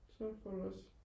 så får du også